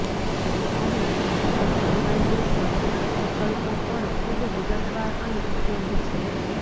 અહીં કસ્ટમાઇઝેશન વિકલ્પો પણ ખૂબ વિગતવાર અને ઉપયોગી છે